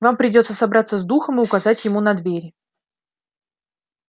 вам придётся собраться с духом и указать ему на двери